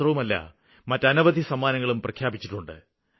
മാത്രമല്ല മറ്റനവധി സമ്മാനങ്ങളും പ്രഖ്യാപിച്ചിട്ടുണ്ട്